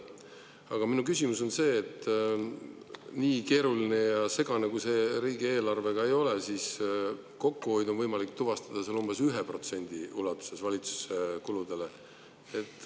Aga minu küsimus on see, et nii keeruline ja segane, kui see riigieelarve ka ei ole, siis kokkuhoidu on võimalik tuvastada seal umbes 1% ulatuses valitsuse kuludes.